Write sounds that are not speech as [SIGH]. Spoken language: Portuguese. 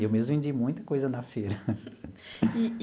Eu mesmo vendi muita coisa na feira. [LAUGHS]